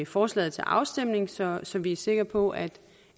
forslaget til afstemning så så vi er sikre på at